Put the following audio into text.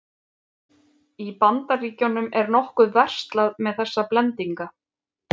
Í Bandaríkjunum er nokkuð verslað með þessa blendinga.